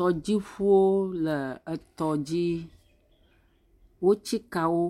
Tɔdziŋuwo le etɔ dzi, wotsi ka wo